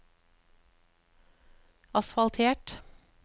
asfaltert